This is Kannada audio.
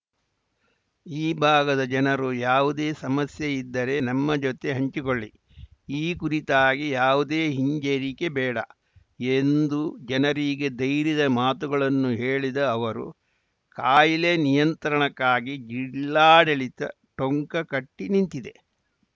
ಈ ಭಾಗದ ಜನರು ಯಾವುದೇ ಸಮಸ್ಯೆ ಇದ್ದರೆ ನಮ್ಮ ಜೊತೆ ಹಂಚಿಕೊಳ್ಳಿ ಈ ಕುರಿತಾಗಿ ಯಾವುದೇ ಹಿಂಜರಿಕೆ ಬೇಡ ಎಂದು ಜನರಿಗೆ ಧೈರ್ಯದ ಮಾತುಗಳನ್ನು ಹೇಳಿದ ಅವರು ಕಾಯಿಲೆ ನಿಯಂತ್ರಣಕ್ಕಾಗಿ ಜಿಲ್ಲಾಡಳಿತ ಟೊಂಕ ಕಟ್ಟಿನಿಂತಿದೆ